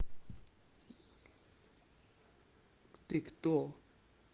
ты кто